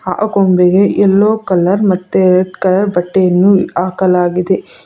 ಆ ಗೊಂಬೆಗೆ yellow colour ಮತ್ತೆ ರೆಡ್ ಕಲರ್ ಬಟ್ಟೆಯನ್ನು ಹಾಕಲಾಗಿದೆ.